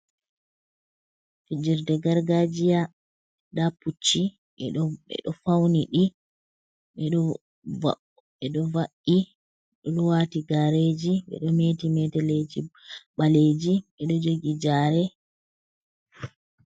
Fijirde gargaji ya nda pucchi ɓeɗo fauni ɗi ɓeɗo va’i ɓeɗo wati gareji ɓeɗo meti meteleji ɓaleji ɓeɗo jogi jare.